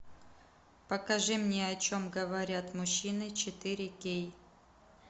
покажи мне о чем говорят мужчины четыре кей